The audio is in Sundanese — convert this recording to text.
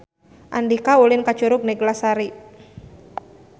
Andika ulin ka Curug Neglasari